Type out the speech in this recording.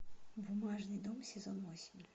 бумажный дом сезон восемь